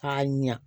K'a ɲa